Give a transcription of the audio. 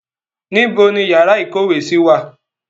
Níbo ni yàrá ìkówèésí wà?